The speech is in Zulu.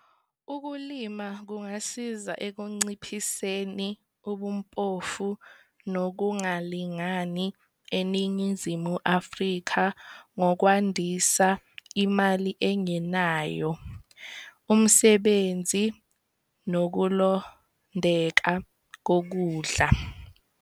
Ukulima kungasiza ekunciphiseni ubumpofu nokungalingani eNingizimu Afrika ngokwandisa imali engenayo, umsebenzi, nokulondeka kokudla.